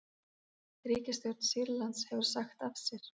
Ríkisstjórn Sýrlands hefur sagt af sér